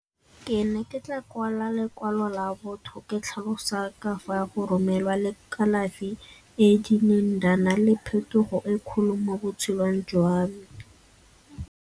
Ke ne ke tla kwala lekwalo la botho ke tlhalosa ka fa go romelwa le kalafi e e kileng di a nna le phetogo e kgolo mo botshelong jwa me.